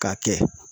K'a kɛ